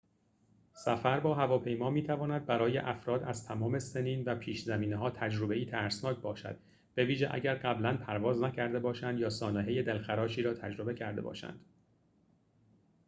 سفر با هواپیما می‌تواند برای افراد از تمام سنین و پیش‌زمینه‌ها تجربه‌ای ترسناک باشد بویژه اگر قبلاً پرواز نکرده باشند یا سانحه دلخراشی را تجربه کرده باشند